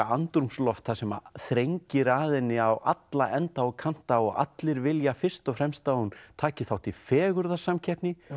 andrúmsloft þar sem þrengir að henni á alla enda og kanta og allir vilja fyrst og fremst að hún taki þátt í fegurðarsamkeppni